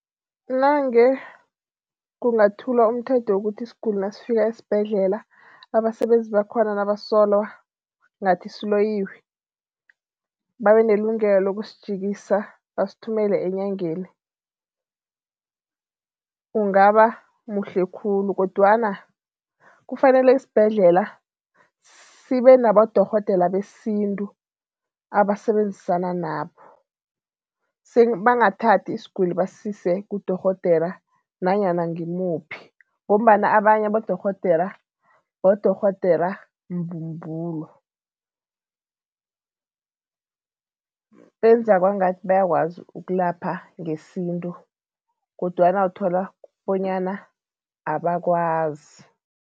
Nange kungathulwa umthetho wokuthi isiguli nasifika esibhedlela, abasebenzi bakhona nabasola ngathi siloyiwe, babe nelungelo lokusijikisa, basithumele enyangeni, ungaba muhle khulu kodwana kufanele isibhedlela sibe nabodorhodere besintu abasebenzisana nabo bangathathi isiguli basise kudorhodera nanyana ngimuphi ngombana abanye abodorhodera bodorhodera mbumbulo, benza kwangathi bayakwazi ukulapha ngesintu kodwana uthola bonyana abakwazi.